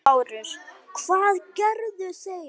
LÁRUS: Hvað gerðu þeir?